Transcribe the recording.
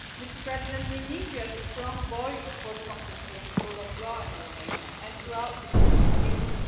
Mr President, we need you as a strong voice for democracy and the rule of law in Romania and throughout the European Union.